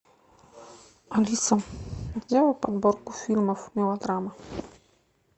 алиса сделай подборку фильмов мелодрама